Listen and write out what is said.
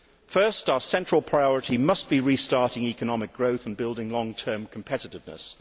First, our central priority must be restarting economic growth and building long term competitiveness.